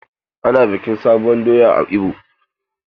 Ana bikin sabuwur doya a kasar ibo.